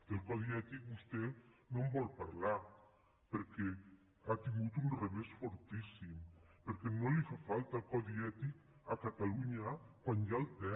del codi ètic vostè no en vol parlar perquè ha tingut un revés fortíssim perquè no li fa falta codi ètic a catalu·nya quan ja el té